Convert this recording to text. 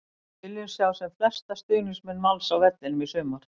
Við viljum sjá sem flesta stuðningsmenn Vals á vellinum í sumar!